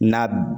Na